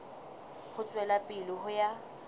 ho tswela pele ho ya